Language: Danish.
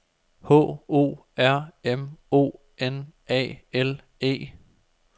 H O R M O N A L E